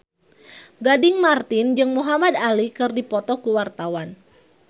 Gading Marten jeung Muhamad Ali keur dipoto ku wartawan